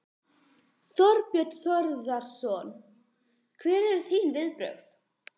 Þorbjörn Þórðarson: Hver eru þín viðbrögð?